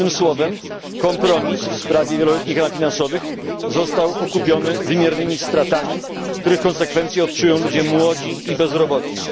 Jednym słowem, kompromis w sprawie wieloletnich ram finansowych został okupiony wymiernymi stratami, których konsekwencje odczują ludzie młodzi i bezrobotni.